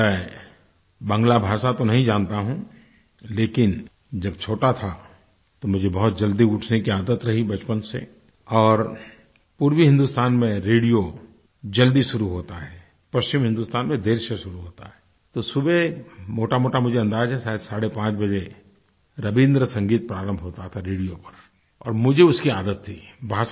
मैं बांग्ला भाषा तो नहीं जानता हूँ लेकिन जब छोटा था मुझे बहुत जल्दी उठने की आदत रही बचपन से और पूर्वी हिंदुस्तान में रेडियो जल्दी शुरू होता है पश्चिम हिंदुस्तान में देर से शुरू होता है तो सुबह मोटामोटा मुझे अंदाज़ है शायद 530 बजे रबीन्द्र संगीत प्रारंभ होता था रेडियो पर और मुझे उसकी आदत थी